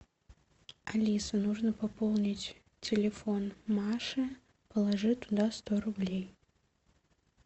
алиса нужно пополнить телефон маше положи туда сто рублей